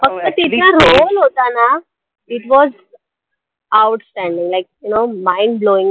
फक्त तीचा role होता ना it was outstanding like you know mind blowing act